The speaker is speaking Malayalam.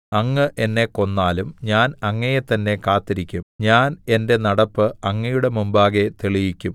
അങ്ങ് എന്നെ കൊന്നാലും ഞാൻ അങ്ങയെത്തന്നെ കാത്തിരിക്കും ഞാൻ എന്റെ നടപ്പ് അങ്ങയുടെ മുമ്പാകെ തെളിയിക്കും